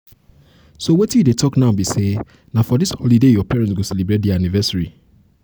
so wetin you dey talk now be say na for dis holiday holiday your parents go celebrate their anniversary.